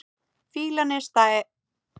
Fýlan er stæk.